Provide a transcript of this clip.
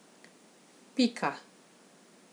Pika.